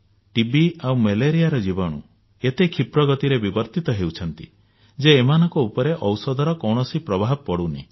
TB ଆଉ ମ୍ୟାଲେରିଆର ଜୀବାଣୁ ଏତେ କ୍ଷୀପ୍ର ଗତିରେ ବିବର୍ତ୍ତିତ ହେଉଛନ୍ତି ଯେ ଏମାନଙ୍କ ଉପରେ ଔଷଧର କୌଣସି ପ୍ରଭାବ ପଡୁନାହିଁ